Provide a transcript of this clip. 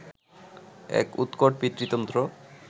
এক উৎকট পিতৃতন্ত্র